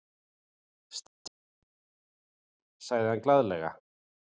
Stígðu inní drossíuna, herra minn, sagði hann glaðlega.